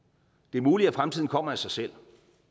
muligt at fremtiden kommer af sig selv